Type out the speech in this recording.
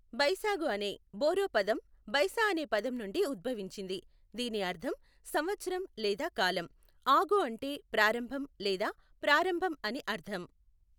బైసాగు అనే బోరో పదం బైసా అనే పదం నుండి ఉద్భవించింది, దీని అర్థం సంవత్సరం లేదా కాలం, ఆగు అంటే ప్రారంభం లేదా ప్రారంభం అని అర్థం.